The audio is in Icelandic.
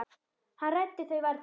Hann ræddi þau varla.